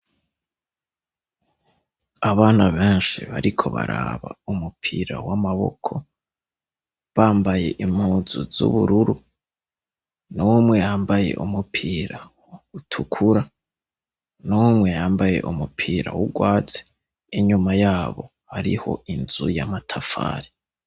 Abana benshi bariko baraba umupira w'amaboko, bambaye impuzu z'ubururu, n'umwe yambaye umupira utukura, n'umwe yambaye umupira w'urwatsi, inyuma yabo hariho inzu y'amatafari.